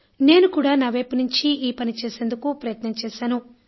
నేను కూడా నావైపు నుంచి ఈ పని చేసేందుకు ప్రయత్నం చేశాను